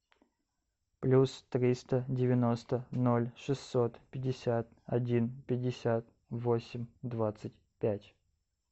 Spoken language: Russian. плюс триста девяносто ноль шестьсот пятьдесят один пятьдесят восемь двадцать пять